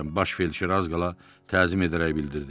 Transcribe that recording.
Baş Felçer az qala təzim edərək bildirdi.